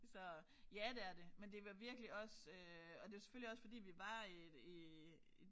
Så ja det er det men det var virkelig også øh og det selvfølgelig også fordi vi var øh i